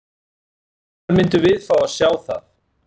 Hvenær myndum við fá að sjá það?